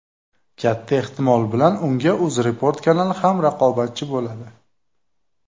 Katta ehtimol bilan unga UzReport kanali ham raqobatchi bo‘ladi.